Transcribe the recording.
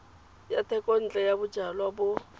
ya thekontle ya bojalwa bo